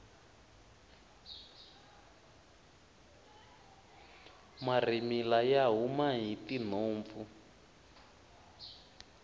marhimila ya huma hi tinhompfu